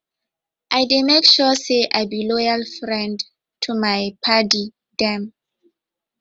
i dey make sure sey i be loyal friend to my paddy dem